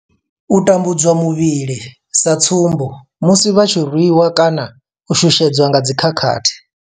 U tambudzwa muvhili, sa tsumbo, musi vha tshi rwiwa kana u shushedzwa nga dzi khakhathi.